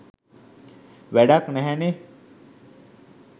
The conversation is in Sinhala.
වැඩක් නැහැනේ.